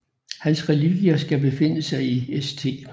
Hans relikvier skal befinde sig i St